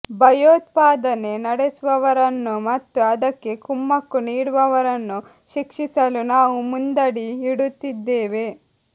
ಭಯೋತ್ಪಾದನೆ ನಡೆಸುವವರನ್ನು ಮತ್ತು ಅದಕ್ಕೆ ಕುಮ್ಮಕ್ಕು ನೀಡುವವರನ್ನು ಶಿಕ್ಷಿಸಲು ನಾವು ಮುಂದಡಿ ಇಡುತ್ತಿದ್ದೇವೆ